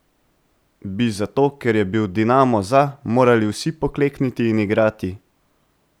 Bi zato, ker je bil Dinamo za, morali vsi poklekniti in igrati?